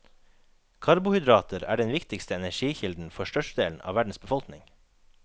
Karbohydrater er den viktigste energikilden for størstedelen av verdens befolkning.